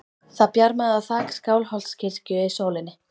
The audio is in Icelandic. Það bjarmaði á þak Skálholtskirkju í sólinni.